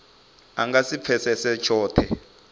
a nga si pfesese tshothe